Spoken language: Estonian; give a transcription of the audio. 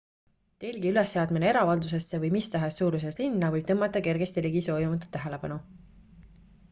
telgi ülesseadmine eravaldusesse või mis tahes suuruses linna võib tõmmata kergesti ligi soovimatut tähelepanu